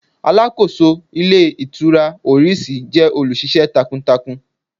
Aláàkóso Ilé Ìtura Oris jẹ́ olù ṣiṣẹ́ takuntakun